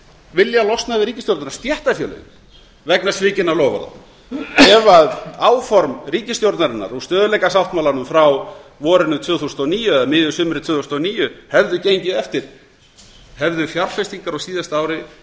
vilja losna við ríkisstjórnina stéttarfélögin vegna svikinna loforða ef áform ríkisstjórnarinnar á stöðugleikasáttmálanum frá vorinu tvö þúsund og níu eða miðju sumri tvö þúsund og níu hefðu gengið eftir hefðu fjárflutnignar á síðasta ári